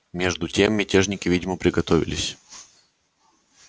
между тем мятежники видимо приготовились